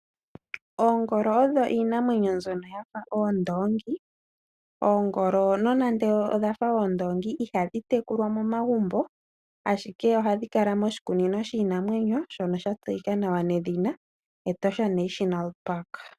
Oongolo odho iinamwenyo mbyono yafa oondoongi. Oongolo nonando odha fa oondoongi ihadhi tekulwa momagumbo. Ashike ohadhi kala moshikunino shiinamwenyo shono sha tseyika nawa nedhina Etosha National Park.